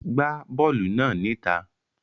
Gbá bọ́ọ̀lù náà níta.